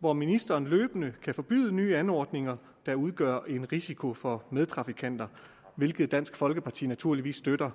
hvor ministeren løbende kan forbyde nye anordninger der udgør en risiko for medtrafikanter hvilket dansk folkeparti naturligvis støtter